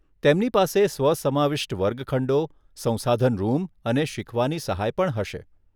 તેમની પાસે સ્વ સમાવિષ્ટ વર્ગખંડો, સંસાધન રૂમ અને શીખવાની સહાય પણ હશે.